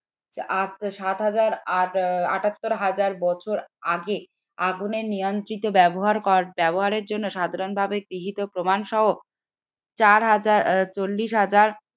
সাত হাজার আট আটাত্তর হাজার বছর আগে আগুনের নিয়ন্ত্রিত ব্যবহার কর ব্যবহারের জন্য সাধারণভাবে গৃহীত প্রমাণ সহ চার হাজার চল্লিশ হাজার